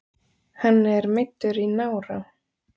Hann er meiddur í nára